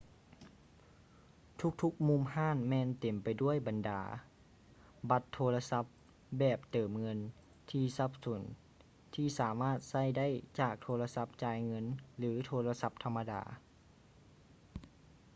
ທຸກໆມຸມຮ້ານແມ່ນເຕັມໄປດ້ວຍບັນດາບັດໂທລະສັບແບບເຕີມເງິນທີ່ສັບສົນທີ່ສາມາດໃຊ້ໄດ້ຈາກໂທລະສັບຈ່າຍເງິນ ຫຼື ໂທລະສັບທຳມະດາ